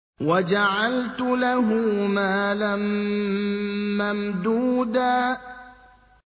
وَجَعَلْتُ لَهُ مَالًا مَّمْدُودًا